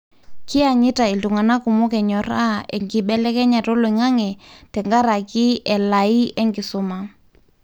kianyitaa iltunganaa kumok anyoraa enkibelekenyata oloingange tenkaraki elaai enkisuma.